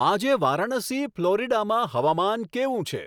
આજે વારાણસી ફ્લોરીડામાં હવામાન કેવું છે